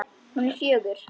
Hún er fjögur.